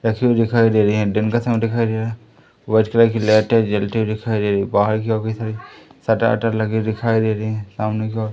रखे हुए दिखाई दे रहे हैं दिन का समय दिखाई दे रहा है व्हाइट कलर की लाइटें जलती हुई दिखाई दे रही बाहर की ओर कई सारे शटर वटर लगे दिखाई दे रहे हैं सामने की ओर --